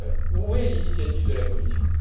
Où est l'initiative de la Commission